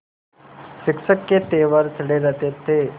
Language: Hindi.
शिक्षक के तेवर चढ़े रहते थे